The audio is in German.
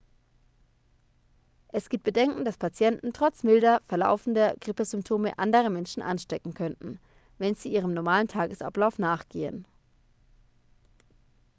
es gibt bedenken dass patienten trotz milder verlaufender grippesymptome andere menschen anstecken könnten wenn sie ihrem normalen tagesablauf nachgehen